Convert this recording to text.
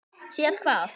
Séð hvað?